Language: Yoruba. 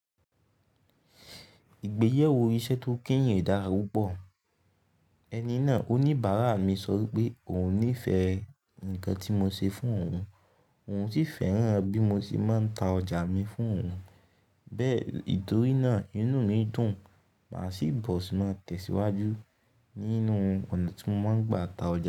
Ìgbéyàwó iṣẹ́ tó kẹ̀yin o dára púpọ̀. Ẹni náà oníbàárà mi sọ wípé òun ní fẹ́ nǹkan tí mo ṣe fún òun, òun sì fẹ́ràn bí mo ti máa ń ta ọjà mi fún òun. Bẹ́ẹ̀, nítorí náà inú mi dùn, màá sì bọ̀ sì máa tẹ̀síwájú nínú ọ̀nà tí mo máa ń gba ta ọjà mi.